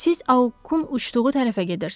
Siz Aukun uçduğu tərəfə gedirsiz.